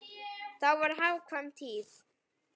Þá var hagkvæm tíð.